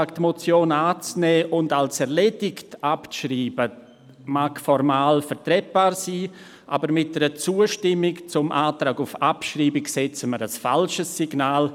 Sein Antrag, diese Motion anzunehmen und als «erledigt» abzuschreiben, mag formal vertretbar sein, aber mit einer Zustimmung zum Antrag auf Abschreibung setzen wir ein falsches Signal.